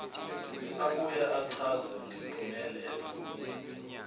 abuye achaze ngempumelelo